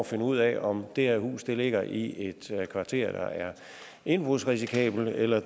finde ud af om det her hus ligger i et kvarter der er indbrudsrisikabelt eller